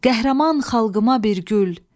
Qəhrəman xalqıma bir gül!